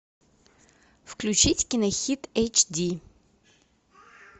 включить кинохит эйч ди